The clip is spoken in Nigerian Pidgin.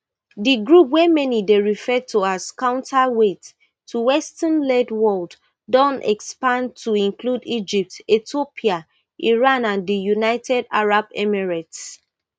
di group wey many dey refer to as counterweight to westernled world don expand to include egypt ethiopia iran and di united arab emirates